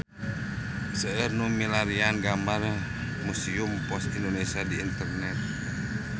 Seueur nu milarian gambar Museum Pos Indonesia di internet